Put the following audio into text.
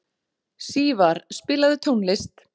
Sívar, spilaðu tónlist.